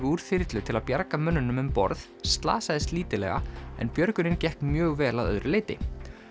úr þyrlu til að bjarga mönnunum um borð slasaðist lítillega en björgunin gekk mjög vel að öðru leyti